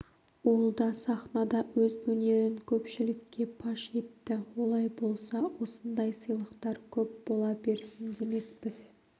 ол да сахнада өз өнерін көпшілікке паш етті олай болса осындай сыйлықтар көп бола берсін демекпіз